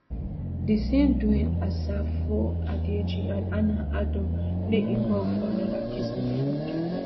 di same dwayne asafo adjei and hannah adom dey involve for anoda case of fraud